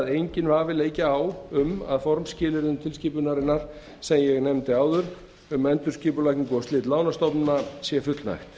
enginn vafi leiki á um að formskilyrðum tilskipunarinnar sem ég nefndi áður um endurskipulagningu og slit lánastofnana sé fullnægt